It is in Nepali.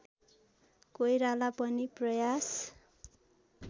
कोइराला पनि प्रयास